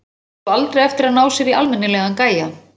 Þessi á sko aldrei eftir að ná sér í almennilegan gæja.